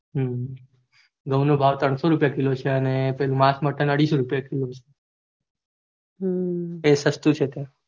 હમ ઘઉં નો ભાવ ત્રણસો રૂપિયા kilo છે અને પેલું માસ મતન અઢીસો રૂપિયા killo